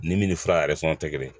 Ni min ni fura yɛrɛ fana tɛ kelen